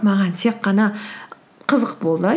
маған тек қана қызық болды